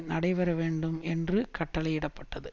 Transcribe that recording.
நடைபெறவேண்டும் என்று கட்டளையிடப்பட்டது